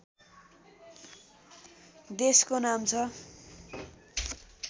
देशको नाम छ